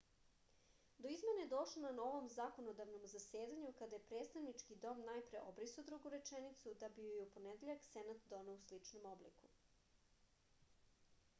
do izmene je došlo na ovom zakonodavnom zasedanju kada je predstavnički dom najpre obrisao drugu rečenicu da bi ju je u ponedeljak senat doneo u sličnom obliku